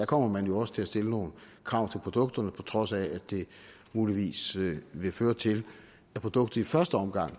kommer man jo også til at stille nogle krav til produktet på trods af at det muligvis vil føre til at produktet i første omgang